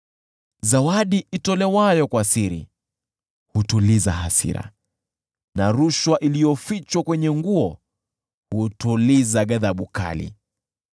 Zawadi itolewayo kwa siri hutuliza hasira na rushwa iliyofichwa kwenye nguo hutuliza ghadhabu kali.